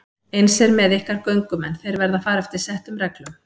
Eins er með ykkar göngumenn, þeir verða að fara eftir settum reglum.